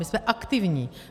My jsme aktivní.